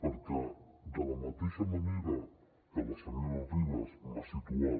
perquè de la mateixa manera que la senyora ribas m’ha situat